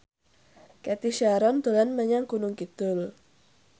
Cathy Sharon dolan menyang Gunung Kidul